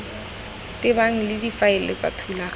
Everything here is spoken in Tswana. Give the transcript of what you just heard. tebang le difaele tsa thulaganyo